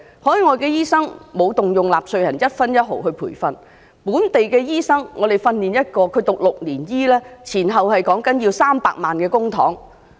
海外的醫生沒有動用納稅人的一分一毫來培訓，而本地培訓一名醫生則需要6年時間，修讀醫科前後需要300萬元公帑。